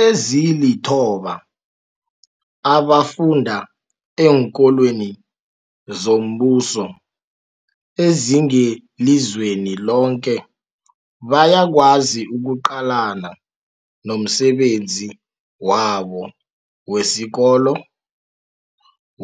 Ezilithoba abafunda eenkolweni zombuso ezingelizweni loke bayakwazi ukuqalana nomsebenzi wabo wesikolo